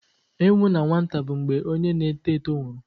Ịnwụ n'nwata bụ mgbe onye na-eto eto nwụrụ.